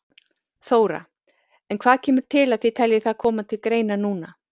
Þóra: En hvað kemur til að þið telji það koma til greina núna?